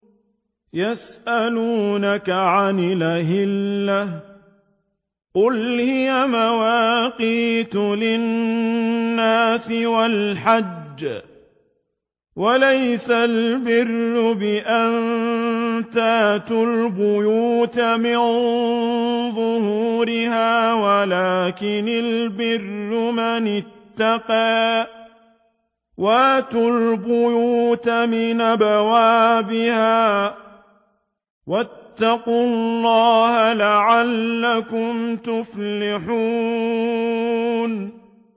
۞ يَسْأَلُونَكَ عَنِ الْأَهِلَّةِ ۖ قُلْ هِيَ مَوَاقِيتُ لِلنَّاسِ وَالْحَجِّ ۗ وَلَيْسَ الْبِرُّ بِأَن تَأْتُوا الْبُيُوتَ مِن ظُهُورِهَا وَلَٰكِنَّ الْبِرَّ مَنِ اتَّقَىٰ ۗ وَأْتُوا الْبُيُوتَ مِنْ أَبْوَابِهَا ۚ وَاتَّقُوا اللَّهَ لَعَلَّكُمْ تُفْلِحُونَ